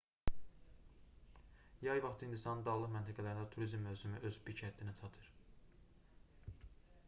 yay vaxtı hindistanın dağlıq məntəqələrində turizm mövsümü öz pik həddinə çatır